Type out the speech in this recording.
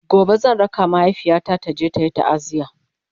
gobe zan raka mahaifiyata taje tayi taaziya